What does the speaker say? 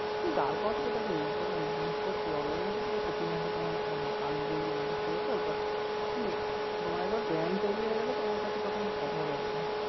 দাঁড় করাতে তারপর দেখো এই তো business তো আর job এর মতো না প্রতি মাসে তোমার মানে আসবেই এরম একটা ব্যাপার but কী তোমার একবার ব্র্যান্ড তৈরী হয়ে গেলে তোমার কাছে তখন অভাব হবে না